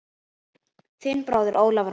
Þinn bróðir Ólafur Már.